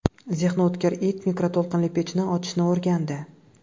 Zehni o‘tkir it mikroto‘lqinli pechni ochishni o‘rgandi .